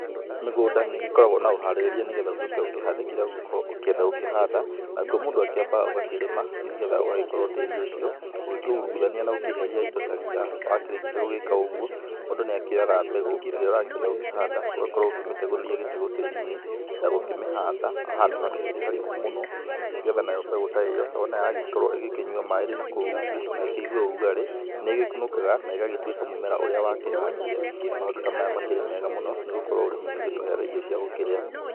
Mĩgũnda nĩ ĩgĩkoragwo na ũharĩrĩria, nĩgetha ũgĩoke ũkĩhande kĩrĩa ũgokorwo ũkĩenda gũkorwo gũkĩhanda, nakuo mũndũ ambaga ũgakĩrĩma, nĩgetha ũgagĩkorwo tĩri ũcio ũkĩirũgania na ũkĩeheria indo ta ria na warĩkia gũgĩka ũgũo, mũndũ nĩ akĩoyaga mbegũ ĩria ũrakĩenda kũmĩhanda ũgakorwo ũkĩmĩtegũrĩria gĩtegũ tĩri-inĩ, na gũkĩmĩhanda handũ hatakĩrĩ harĩku mũno, nĩgetha mbegũ ta ĩyo wona yagĩkorwo ĩkĩnyua maĩ ĩrĩ nakũu rũngũ na ĩkĩigue ũrugarĩ nĩ ĩgĩkonokaga na ĩgagĩtuika mũmera ũrĩa wakĩhandire, maũndũ ta maya makĩrĩ mega mũno nĩ gũkorwo ũrĩmi nĩ ũtũhega irio cia gũkĩrĩa.